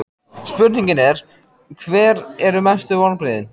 Spurningin er: Hver eru mestu vonbrigðin?